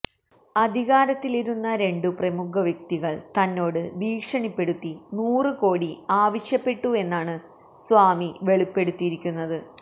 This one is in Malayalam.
അധികാരത്തിലിരുന്ന രണ്ടുപ്രമുഖ വ്യക്തികള് തന്നോട് ഭീഷണിപ്പെടുത്തി നൂറുകോടി ആവശ്യപ്പെട്ടുവെന്നാണ് സ്വാമി വെളിപ്പെടുത്തിയിരിക്കുന്നത്